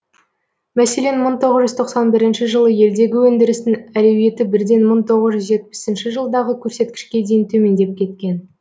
мәселен мың тоғыз жүз тоқсан бірінші жылы елдегі өндірістің әлеуеті бірден мың тоғыз жүз жетпісінші жылдағы көрсеткішке дейін төмендеп кеткен